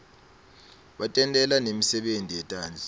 batentela nemisebenti yetandla